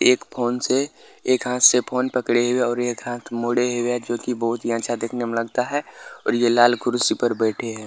एक फ़ोन से एक हाथ से फ़ोन पकडे हुए है और एक हाथ मोड़े हुए है जो की बहुत ही अच्छा दिखने में लगता है और ये लाल कुर्सी पर बैठे है।